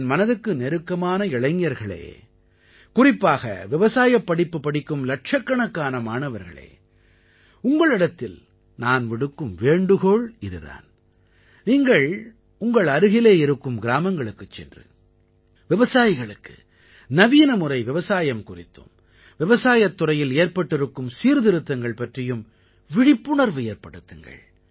என் மனதுக்கு நெருக்கமான இளைஞர்களே குறிப்பாக விவசாயப் படிப்பு படிக்கும் இலட்சக்கணக்கான மாணவர்களே உங்களிடத்தில் நான் விடுக்கும் வேண்டுகோள் இதுதான் நீங்கள் உங்கள் அருகிலே இருக்கும் கிராமங்களுக்குச் சென்று விவசாயிகளுக்கு நவீனமுறை விவசாயம் குறித்தும் விவசாயத் துறையில் ஏற்பட்டிருக்கும் சீர்திருத்தங்கள் பற்றியும் விழிப்புணர்வு ஏற்படுத்துங்கள்